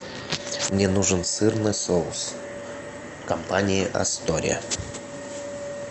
мне нужен сырный соус компании астория